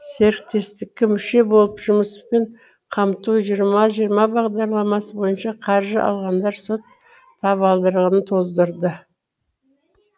серіктестікке мүше болып жұмыспен қамту екі мың жиырма бағдарламасы бойынша қаржы алғандар сот табалдырығын тоздырды